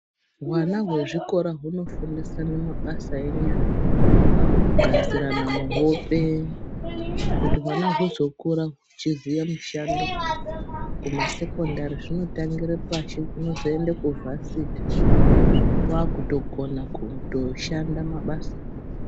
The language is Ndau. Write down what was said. Hwana hwezvikora hunofundisana mabasa enyara kugadzirana hope kuti wana hwuzokura huchiziya mushando kumasekondari zvinotangire pashi unozoende kuvhasiti wakutokona kushanda mabasa.